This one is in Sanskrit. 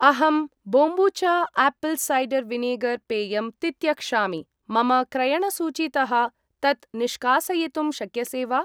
अहं बोम्बूचा आपल् सैडर् विनेगर् पेयम् तित्यक्षामि, मम क्रयणसूचीतः तत् निष्कासयितुं शक्यसे वा?